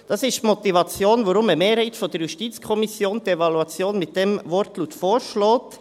Das ist die Motivation, warum eine Mehrheit der JuKo die Evaluation mit diesem Wortlaut vorschlägt.